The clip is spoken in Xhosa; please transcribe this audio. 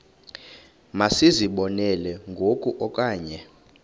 masizibonelele ngoku okanye